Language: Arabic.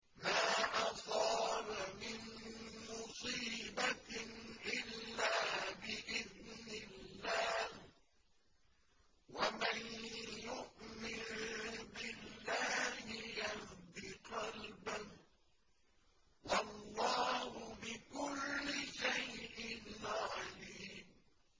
مَا أَصَابَ مِن مُّصِيبَةٍ إِلَّا بِإِذْنِ اللَّهِ ۗ وَمَن يُؤْمِن بِاللَّهِ يَهْدِ قَلْبَهُ ۚ وَاللَّهُ بِكُلِّ شَيْءٍ عَلِيمٌ